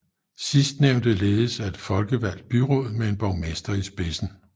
Sidstnævnte ledes af et folkevalgt byråd med en borgmester i spidsen